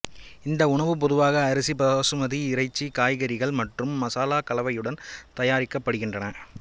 இந்த உணவு பொதுவாக அரிசி பாசுமதி இறைச்சி காய்கறிகள் மற்றும் மசாலா கலவையுடன் தயாரிக்கப்படுகின்றன